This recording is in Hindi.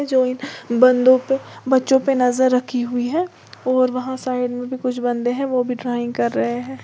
जो इन बंदों पे बच्चों पे नजर रखी हुई है और वहां साइड में भी कुछ बंदे है ड्राइंग कर रहे है।